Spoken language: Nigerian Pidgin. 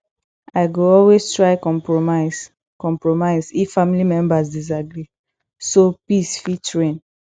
i go always try compromise compromise if family members disagree so peace fit reign